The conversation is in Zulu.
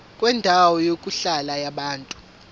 kwendawo yokuhlala yabantu